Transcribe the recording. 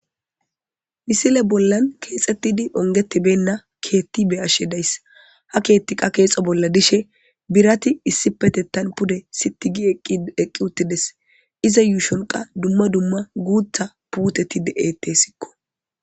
misile bollan keexettidi ongetibenna keetti be ashshe days ha keetti qa keexo bolla dishe birati issi petettan pude sitigi i eqqi uttides iza yuushonqa dumma dumma guutha puuteti de7ette sikko